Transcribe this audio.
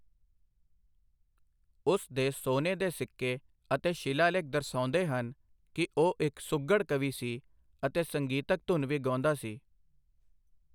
ਉਸ ਦੇ ਸੋਨੇ ਦੇ ਸਿੱਕੇ ਅਤੇ ਸ਼ਿਲਾਲੇਖ ਦਰਸਾਉਂਦੇ ਹਨ ਕਿ ਉਹ ਇੱਕ ਸੁਘੜ ਕਵੀ ਸੀ ਅਤੇ ਸੰਗੀਤਕ ਧੁਨ ਵੀ ਗਾਉਂਦਾ ਸੀ।